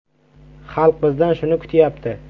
Xalq bizdan shuni kutyapti.